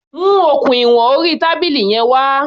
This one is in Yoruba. Mu okùn ìwọn orí tábìlì yẹn wá.